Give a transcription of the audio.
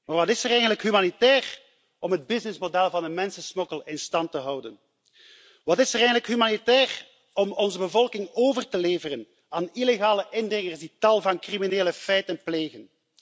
Maar wat is er eigenlijk humanitair aan om het businessmodel van de mensensmokkel in stand te houden? Wat is er eigenlijk humanitair aan om onze bevolking over te leveren aan illegale indringers die tal van criminele feiten plegen?